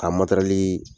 Ka matɛrɛli